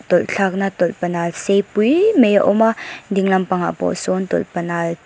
tawlh thlakna tawlhpanal sei puiii mai a awm a ding lampangah pawh sawn tawlhpanal--